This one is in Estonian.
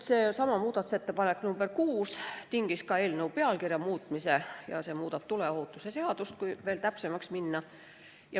Seesama muudatusettepanek nr 6 tingis ka eelnõu pealkirja muutmise ja see muudab ka tuleohutuse seadust, kui veel täpsemaks minna.